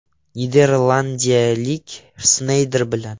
Niderlandiyalik Sneyder bilan.